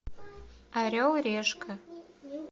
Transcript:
орел и решка